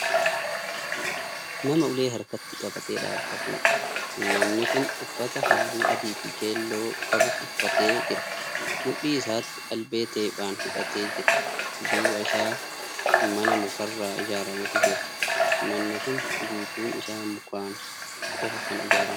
Nama ulee harkatti qabatee dhaabatuudha. namni Kun uffata halluu adiifi keelloo qabu uffatee jira. mudhii isaatti albee teephaan hidhattee jira. duuba Isaa mana mukarraa ijaarametu jira. manni Kuni guutuun Isaa mukaan qofa Kan ijaarameedha.